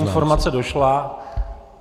Informace došla.